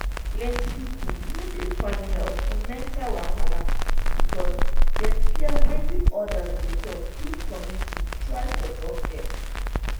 plenty people no dey find help for mental wahala because dem fear wetin others go talk if community try support dem.